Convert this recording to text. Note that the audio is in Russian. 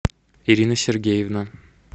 ирина сергеевна